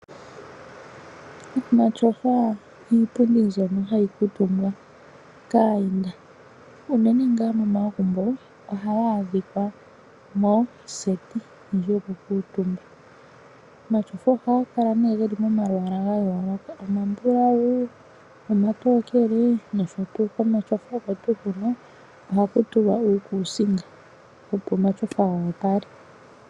Omatyofa iipundi mbyono hayi kuutumbwa kaayenda uunene ngaa momagumbo ohaga adhikwa moseti ndji yoku kuutumba. Omatyofa ohaga kala nee geli momalwaala ga yooloka omabulawu, omatookele nosho tuu, komatyofa oko tuu hono ohaku tulwa uukusinga, opo omatyofa ga opale.